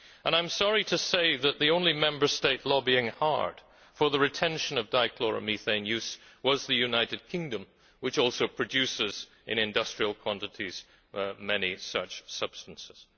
I am sorry to say that the only Member State lobbying hard for the retention of dichloromethane use was the United Kingdom, which also produces in industrial quantities many such substances.